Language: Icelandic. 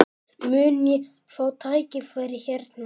Mun ég fá tækifæri hérna?